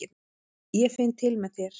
Ég finn til með þér.